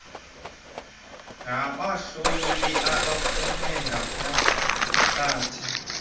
ngabahloli abaphuma kugunyaziwe